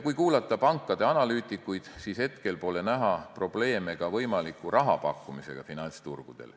Kui kuulata pankade analüütikuid, siis hetkel pole näha probleeme ka võimaliku rahapakkumisega finantsturgudel.